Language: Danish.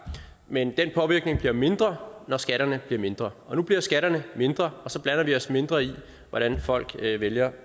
men den påvirkning bliver mindre når skatterne bliver mindre og nu bliver skatterne mindre og så blander vi os mindre i hvordan folk vælger